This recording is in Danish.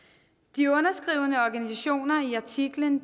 de underskrivende organisationer i artiklen